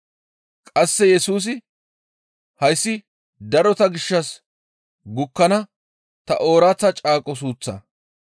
Qasse Yesusi, «Hayssi darota gishshas gukkana ta ooraththa caaqo suuththaa.